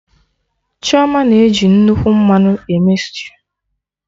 Chioma na eji nnukwu mmanụ eme stew